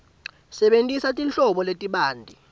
sebentisa tinhlobo letibanti